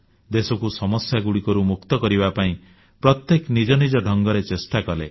ଦେଶକୁ ସମସ୍ୟାଗୁଡ଼ିକରୁ ମୁକ୍ତ କରିବା ପାଇଁ ପ୍ରତ୍ୟେକେ ନିଜ ନିଜ ଢଙ୍ଗରେ ଚେଷ୍ଟା କଲେ